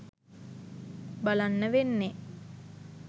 බලන්න වෙන්නේ.